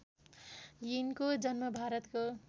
यिनको जन्म भारतको